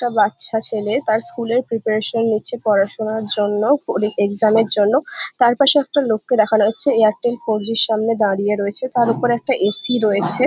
একটা বাচ্ছা ছেলে তার স্কুলের প্রিপারেশন নিচ্ছে পড়া শুনার জন্য পরি-এক্সাম এর জন্য তার পাশে একটা লোককে দেখানো হচ্ছে এয়ারটেল ফোরজি র সামনে দাঁড়িয়ে রয়েছে তার ওপরে একটা এ .সি রয়েছে।